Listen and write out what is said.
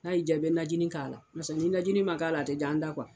N'a yi diya i bɛ najinin k'a la, ni najinin ma k'a la a tɛ diya an da